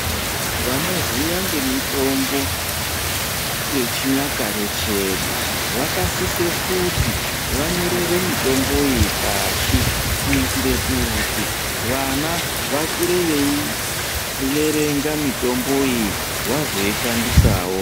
Vanoziva ngemitombo yechinyakare chedu vakasise kuti vanyorere mitombo iyi pashi kuitire kuti vana vakure veiverenga mitombo iyi vazoishandisawo.